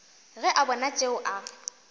ge a bona tšeo a